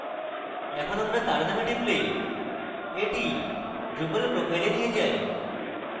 এখন আমরা তার name টিপলে এটি drupal profile we নিয়ে যায়